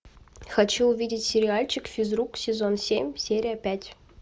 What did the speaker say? хочу увидеть сериальчик физрук сезон семь серия пять